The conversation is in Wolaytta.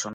soho.